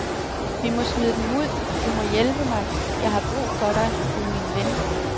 Vi må smide dem ud, du må hjælpe mig, jeg har brug for dig, du er min ven.